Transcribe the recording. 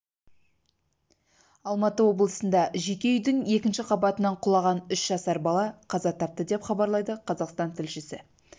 алматы облысында жеке үйдің екінші қабатынан құлаған үш жасар бала қаза тапты деп хабарлайды қазақстан тілшісі